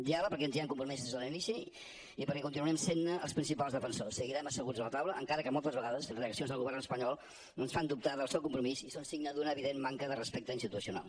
diàleg perquè ens hi hem compromès des de l’inici i perquè continuarem sent ne els principals defensors seguirem asseguts a la taula encara que moltes vegades reaccions del govern espanyol ens fan dubtar del seu compromís i són signe d’una evident manca de respecte institucional